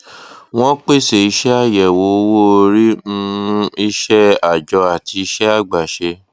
wón pèsè iṣẹ àyẹwò owó orí um iṣẹ àjọ àti iṣẹ àgbàṣe